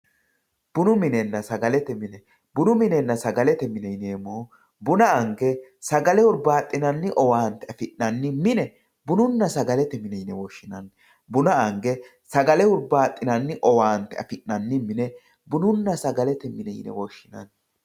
Bunu minenna sagalete mine bunu minnena sagalete mine yinemohu buna ange sagalete hurbaxinanni owante afinanni mine bununna sagalete mine yine woshinemo buna ange sagalete hurbaxinanni owante afinanni mine bununna sagalete mine yine woshinani